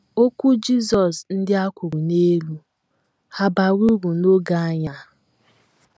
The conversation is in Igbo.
Okwu Jizọs ndi a kwuru n'elu, hà bara uru n’oge anyị a?